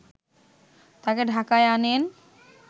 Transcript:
তাকে ঢাকায় আনেন